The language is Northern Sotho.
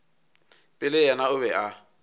pele yena o be a